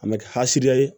A mɛ kɛ asidiya ye